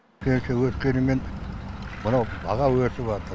пенсия өскенімен мынау баға өсіватыр